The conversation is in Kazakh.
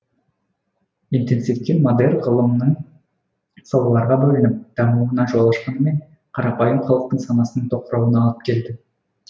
интенсивті модерн ғылымның салаларға бөлініп дамуына жол ашқанымен қарапайым халықтың санасының тоқырауына алып келді